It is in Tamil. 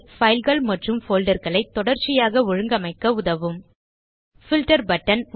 fileகள் மற்றும் folderகளை தொடர்சியாக ஒழுங்கமைக்க உதவும் பில்ட்டர் பட்டன்